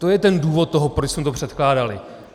To je ten důvod toho, proč jsme to předkládali.